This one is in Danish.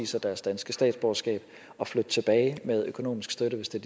sig deres danske statsborgerskab og flytte tilbage med økonomisk støtte hvis det